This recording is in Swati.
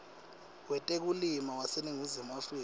wetekulima waseningizimu afrika